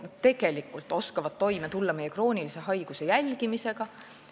Nad tegelikult oskavad toime tulla kroonilise haiguse jälgimisega.